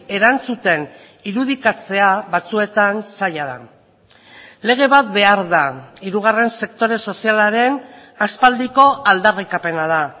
erantzuten irudikatzea batzuetan zaila da lege bat behar da hirugarren sektore sozialaren aspaldiko aldarrikapena da